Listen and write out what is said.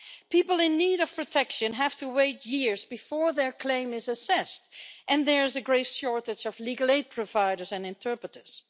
People in need of protection have to wait years before their claim is assessed and there's a great shortage of legal aid providers and interpreters.